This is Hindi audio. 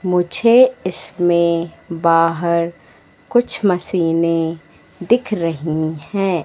मुझे इसमें बाहर कुछ मशीने दिख रही है।